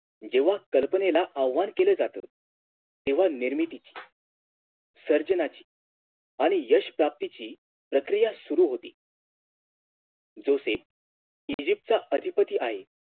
जेव्हा कल्पनेला आव्हान केल जात तेव्हा निर्मितीची सर्जनाची आणि यश प्राप्तीची प्रक्रिया सुरु होती Joseph ईजिप्तचा अधिपती आहे